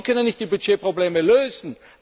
Auch Sie können nicht die Budgetprobleme lösen.